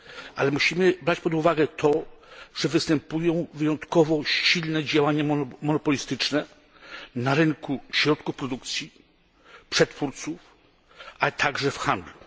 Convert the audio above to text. Ale musimy brać pod uwagę to, że występują wyjątkowo silne działania monopolistyczne na rynku środków produkcji, przetwórców, a także w handlu.